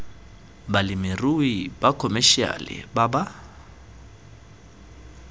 balemirui ba khomešiale ba ba